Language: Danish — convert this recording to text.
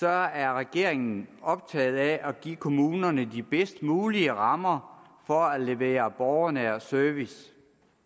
er regeringen optaget af at give kommunerne de bedst mulige rammer for at levere borgernær service